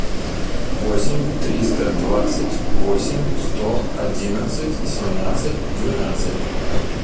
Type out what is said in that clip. восемь триста двадцать восемь сто одиннадцать семнадцать двенадцать